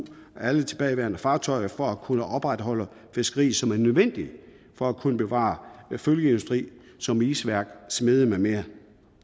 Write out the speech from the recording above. alle de tilbageværende fartøjer for at kunne opretholde fiskeriet som en nødvendighed for at kunne bevare følgeindustri som isværk smede med mere